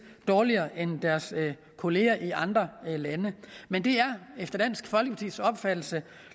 dårligere end deres kolleger i andre lande men det er efter dansk folkepartis opfattelse